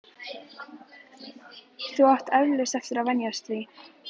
Þú átt eflaust eftir að venjast því.